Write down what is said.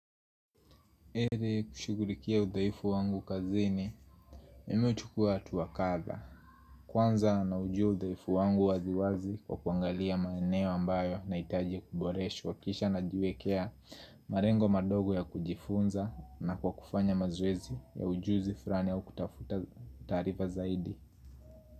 Heri kushughulikia udhaifu wangu kazini Mimi huchukua hatua kadha Kwanza naujua udhaifu wangu wazi wazi kwa kuangalia maeneo ambayo nahitajia kuboreshwa kisha najiwekea malengo madogo ya kujifunza na kwa kufanya mazoezi ya ujuzi fulani au kutafuta taarifa zaidi.